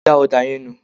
da òdà yẹn nù